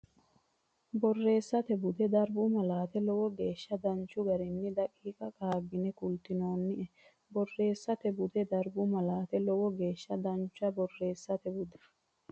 Borreessate Bude Darbu Malaate Lowo geeshsha danchu garinni daqiiqa qaaggine kultinoonnie Borreessate Bude Darbu Malaate Lowo geeshsha danchu Borreessate Bude.